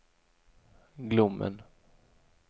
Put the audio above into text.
Glommen